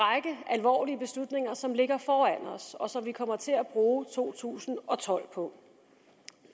alvorlige beslutninger som ligger foran os og som vi kommer til at bruge to tusind og tolv på